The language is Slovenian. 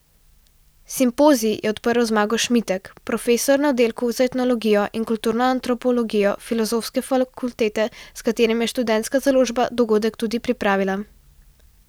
Simpozij je odprl Zmago Šmitek, profesor na oddelku za etnologijo in kulturno antropologijo filozofske fakultete, s katerim je Študentska založba dogodek tudi pripravila.